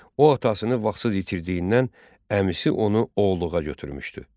O atasını vaxtsız itirdiyindən əmisi onu oğuluğa götürmüşdü.